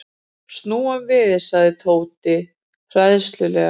Snúum við sagði Tóti hræðslulega.